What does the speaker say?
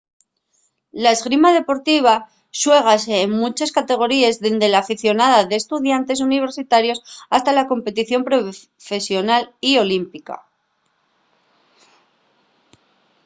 la esgrima deportiva xuégase en munches categoríes dende l'aficionada d'estudiantes universitarios hasta la competición profesional y olímpica